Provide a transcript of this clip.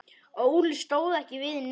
Óli stóð ekki við neitt.